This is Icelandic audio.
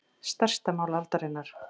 Stærsta mál aldarinnar